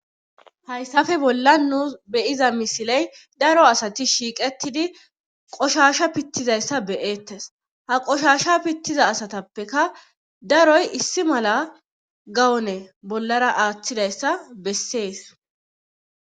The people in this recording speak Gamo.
hayssafe bolla nu beyiza misiley daro asati shiiqetidi qoshasha pittizayssa be'eettes ha qoshasha pittiza asatappeka daroy issi mala gawone bollara aaththidayssa bessees